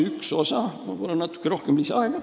Ma palun natuke lisaaega!